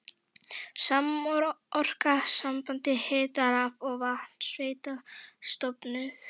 Samorka, samband hita-, raf- og vatnsveitna, stofnuð.